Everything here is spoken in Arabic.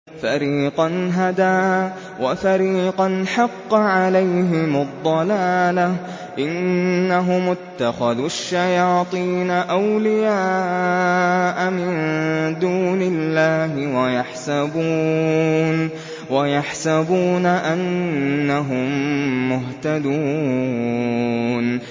فَرِيقًا هَدَىٰ وَفَرِيقًا حَقَّ عَلَيْهِمُ الضَّلَالَةُ ۗ إِنَّهُمُ اتَّخَذُوا الشَّيَاطِينَ أَوْلِيَاءَ مِن دُونِ اللَّهِ وَيَحْسَبُونَ أَنَّهُم مُّهْتَدُونَ